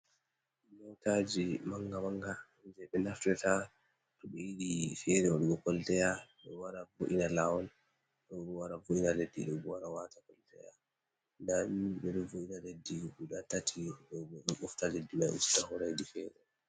Motaji manga manga je ɓe naftirta to ɓe yiɗi fere waɗugo koltaya, ɗo wara bo’ina lawol ɗo wara vo’ina leddi, ɗo bo wara wata koltaya, nda ɗum be voina leddi guda tati ɗo bo ɗo usta leddi man yara hedi fere.